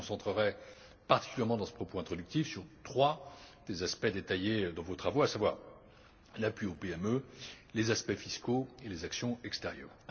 Je me concentrerai particulièrement dans ce propos introductif sur trois des aspects détaillés dans vos travaux, à savoir l'appui aux PME, les aspects fiscaux et les actions extérieures.